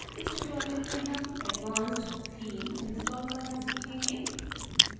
इस tutorial में हम advanced theme install करना सीखेंगे